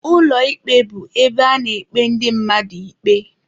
Ụlọ ikpe bụ ebe a na-ekpe ndị mmadụ ikpe.